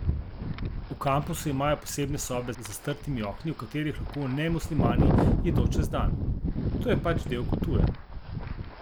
V kampusu imajo posebne sobe z zastrtimi okni, v katerih lahko nemuslimani jedo čez dan: "To je pač del kulture.